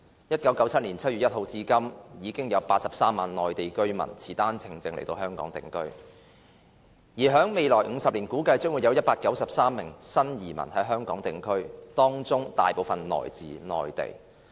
1997年7月1日至今，已有83萬內地居民持單程證來港定居，而在未來50年估計將有193萬名新移民在港定居，當中大部分來自內地。